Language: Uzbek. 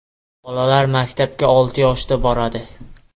Bolalar maktabga olti yoshda boradi.